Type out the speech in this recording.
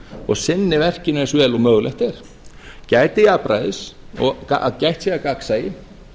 og sinni verkinu eins vel og mögulegt er gæti jafnræðis og að gætt sé að gagnsæi